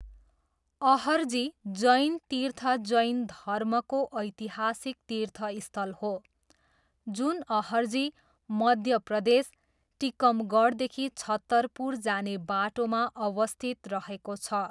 अहरजी जैन तीर्थ जैन धर्मको ऐतिहासिक तीर्थस्थल हो जुन अहरजी, मध्य प्रदेश, टिकमगढदेखि छतरपुर जाने बाटोमा अवस्थित रहेको छ।